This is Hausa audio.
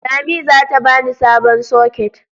Lami zata bani sabon soket.